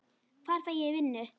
Hvar fæ ég vinnu?